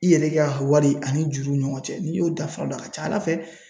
I yɛrɛ ka wari ani juruw ni ɲɔgɔn cɛ, n'i y'o taa fan dɔn a ka ca Ala fɛ